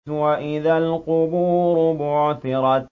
وَإِذَا الْقُبُورُ بُعْثِرَتْ